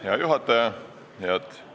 Hea juhataja!